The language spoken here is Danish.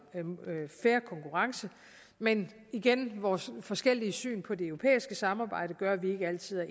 fair konkurrence men igen vores forskellige syn på det europæiske samarbejde gør at vi ikke altid er